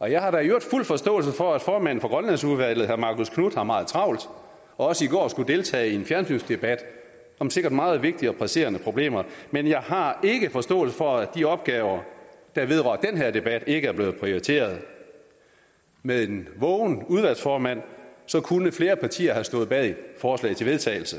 og jeg har da i øvrigt fuld forståelse for at formanden for grønlandsudvalget herre marcus knuth har meget travlt og også i går skulle deltage i en fjernsynsdebat om sikkert meget vigtige og presserende problemer men jeg har ikke forståelse for at de opgaver der vedrører den her debat ikke er blevet prioriteret med en vågen udvalgsformand kunne flere partier have stået bag forslaget til vedtagelse